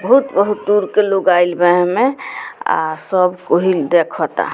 बहुत-बहुत दूर के लोग आइल बा एह में आ सब पहिल देखता।